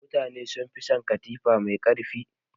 Mutane sun fi son katifa mai ƙarfi.